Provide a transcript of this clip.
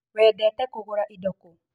Wendete kũgũra ĩndo kũ?